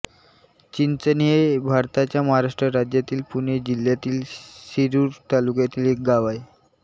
चिंचणी हे भारताच्या महाराष्ट्र राज्यातील पुणे जिल्ह्यातील शिरूर तालुक्यातील एक गाव आहे